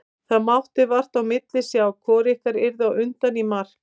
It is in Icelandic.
Það mátti vart á milli sjá hvort ykkar yrði á undan í mark.